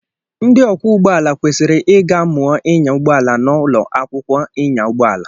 Ndị ọkwọ ụgbọala kwesịrị ịga mụọ ịnya ụgbọala n'ụlọ akwụkwọ ịnya ụgbọ ala.